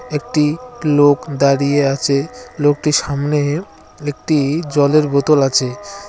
একটি লোক দাঁড়িয়ে আছে লোকটির সামনে-এ একটি-ই জলের বোতল আছে।